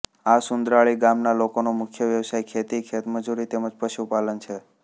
આસુન્દ્રાળી ગામના લોકોનો મુખ્ય વ્યવસાય ખેતી ખેતમજૂરી તેમ જ પશુપાલન છે